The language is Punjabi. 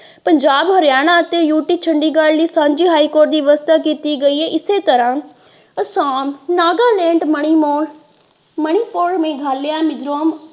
ਪੰਜਾਬ ਹਾਰਿਆਣਾ ਅਤੇ ਯੂਪੀ ਚੰਡੀਗੜ੍ਹ ਲਈ ਸਾਂਝੀ ਹਾਈ ਕੋਰਟ ਦੀ ਵਿਵਸਥਾ ਕੀਤੀ ਗਈ ਹੈ ਇਸ ਤਰ੍ਹਾਂ ਆਸਾਮ ਨਾਗਾਲੈਂਡ ਮਨੀਮੋਰ ਮਨੀਪੁਰ ਮੇਘਾਲਿਆ ਮਿਜ਼ੋਰਮ।